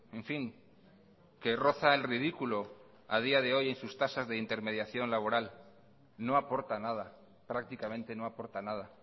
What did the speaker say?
en fin que roza el ridículo a día de hoy en sus tasas de intermediación laboral no aporta nada prácticamente no aporta nada